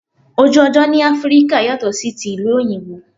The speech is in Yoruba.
Ojú ọjọ́ ni Áfríkà yàtò sí ti ìlú òyìnbó.